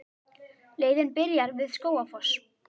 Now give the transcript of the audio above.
Leiðin byrjar við Skógafoss.